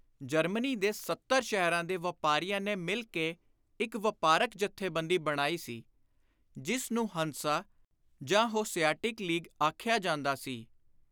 Germany ਦੇ ਸੱਤਰ ਸ਼ਹਿਰਾਂ ਦੇ ਵਾਪਾਰੀਆਂ ਨੇ ਮਿਲ ਕੇ ਇਕ ਵਾਪਾਰਕ ਜਥੇਬੰਦੀ ਬਣਾਈ ਸੀ, ਜਿਸ ਨੂੰ ਹੰਸਾ ਜਾਂ ਹੋਸਿਆਟਿਕ ਲੀਗ ਆਖਿਆ ਜਾਂਦਾ ਸੀ।